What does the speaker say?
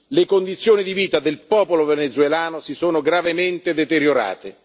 Le condizioni di vita del popolo venezuelano si sono gravemente deteriorate.